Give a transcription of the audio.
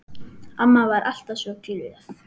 Amma var alltaf svo glöð.